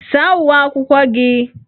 Saa uwe akwụkwọ gị!